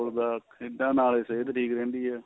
ਦਾ ਖੇਡਾ ਨਾਲ ਹੀ ਖੇਡਦੀ ਰਹਿੰਦੀ ਏ